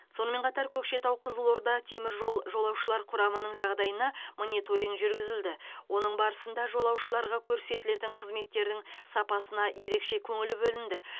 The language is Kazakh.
сонымен қатар көкшетау қызылорда теміржол жолаушылар құрамының жағдайына мониторинг жүргізілді оның барысында жолаушыларға көрсетілетін қызметтердің сапасына ерекше көңіл бөлінді